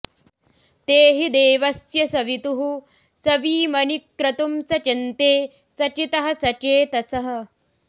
ते हि देवस्य सवितुः सवीमनि क्रतुं सचन्ते सचितः सचेतसः